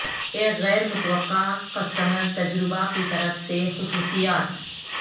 ایک غیر متوقع کسٹمر تجربہ کی طرف سے خصوصیات